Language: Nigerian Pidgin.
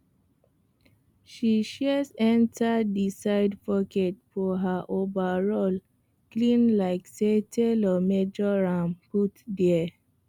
her shears enter the side pocket of her overall clean like say tailor measure am put there